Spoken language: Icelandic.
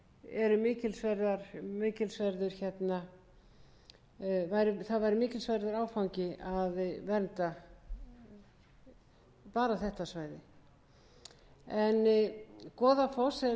eru mikilsverður það væri mikilsverður áfangi að vernda bara þetta svæði goðafoss einn af þekktustu og jafnframt